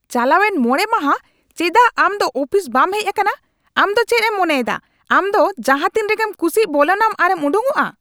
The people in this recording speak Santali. ᱪᱟᱞᱟᱣᱮᱱ ᱕ ᱢᱟᱦᱟ ᱪᱮᱫᱟᱜ ᱟᱢ ᱫᱚ ᱩᱯᱷᱤᱥ ᱵᱟᱢ ᱦᱮᱪ ᱟᱠᱟᱱᱟ? ᱟᱢ ᱫᱚ ᱪᱮᱫ ᱮᱢ ᱢᱚᱱᱮᱭᱮᱫᱟ ᱟᱢ ᱫᱚ ᱡᱟᱦᱟᱸᱛᱤᱱ ᱨᱮᱜᱮᱢ ᱠᱩᱥᱤᱜ ᱵᱚᱞᱚᱱᱟᱢ ᱟᱨᱮᱢ ᱩᱰᱩᱠᱚᱜᱼᱟ ?